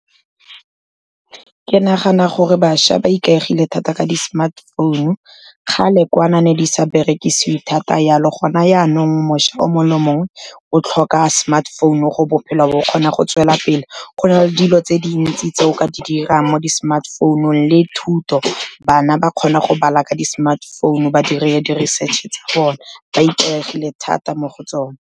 Ke nagana gore bašwa ba ikaegile thata ka di-smartphone-u, kgale kwana ne di sa berekisiwe thata jalo, gona janong mošwa o mongwe le mongwe o tlhoka smartphone-u gore bophelo bo kgone go tswelela pele. Go na le dilo tse dintsi tse o ka di dirang mo di-smartphone-ung le thuto, bana ba kgona go bala ka di-smartphone-u ba dire di-research-e tsa bona, ba ikaegile thata mo go tsone.